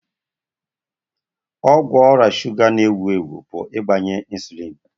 Ọgwụ ọrịa shuga na-ewu ewu bụ ịgbanye insulin.